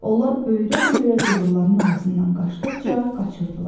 Onlar böyrə-böyrə cığırlarının arasından qaçdıqca qaçırdılar.